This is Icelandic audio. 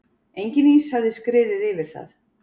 Enginn ís hafði skriðið yfir það.